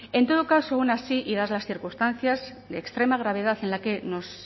en todo caso aun así y dadas las circunstancias de extrema gravedad en las que